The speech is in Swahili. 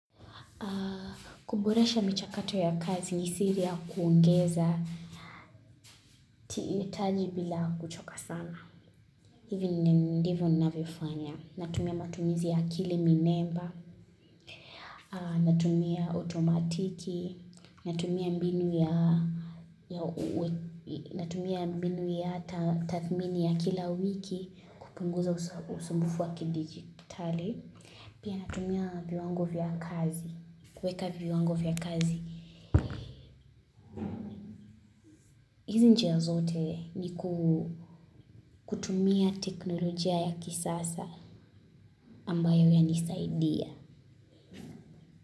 Kuboresha michakato ya kazi ni siri ya kuongeza tihitaji bila kuchoka sana. Hivi ndi ndivyo ninavyofanya. Natumia matumizi ya akili minemba. Natumia otomatiki. Natumia mbinu ya ya uwe natumia mbinu ya ta tathmini ya kila wiki. Kupunguza usa usumbufu wa kidijitali. Pia natumia viwango vya kazi. Kuweka viwango vya kazi. Hizi njia zote ni ku kutumia teknolojia ya kisasa ambayo yanisaidia.